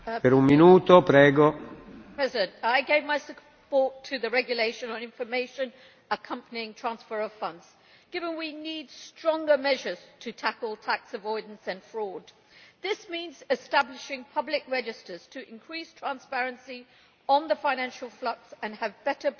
Mr President, I gave my support to the regulation on information accompanying transfers of funds, given that we need stronger measures to tackle tax avoidance and fraud. This means establishing public registers to increase transparency on the financial flux and have better protection